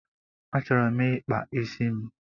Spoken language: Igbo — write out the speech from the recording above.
Achọrọ m ịkpa isi m